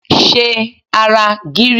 Ṣe ara gírí!